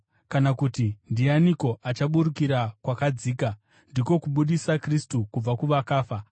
kana, kuti, ‘Ndianiko achaburukira kwakadzika?’ (ndiko, kubudisa Kristu kubva kuvakafa).”